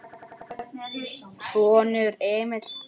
Sonur: Emil Þeyr.